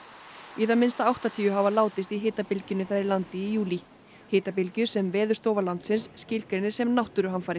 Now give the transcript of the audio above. í það minnsta áttatíu hafa látist í hitabylgjunni þar í landi í júlí hitabylgju sem Veðurstofa landsins skilgreinir sem náttúruhamfarir